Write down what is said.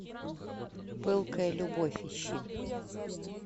пылкая любовь ищи